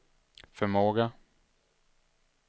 förmåga